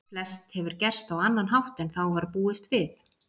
Flest hefur gerst á annan hátt en þá var búist við.